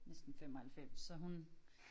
Næsten 95 så hun